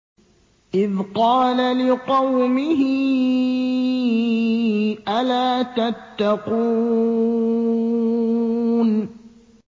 إِذْ قَالَ لِقَوْمِهِ أَلَا تَتَّقُونَ